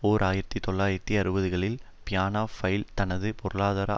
ஓர் ஆயிரத்தி தொள்ளாயிரத்து அறுபதுகளில் பியன்னா ஃபெயில் தனது பொருளாதார